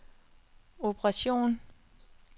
operation